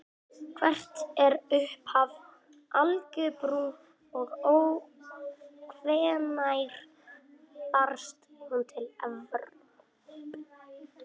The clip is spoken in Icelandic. Hvert er upphaf algebru og hvenær barst hún til Evrópu?